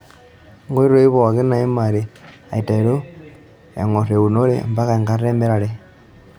Nkoitoi pooki naimari aiteru eng'or eunore ompaka enkata emirare.